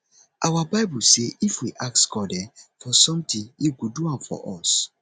our bible say if we ask god um for something he go do am for us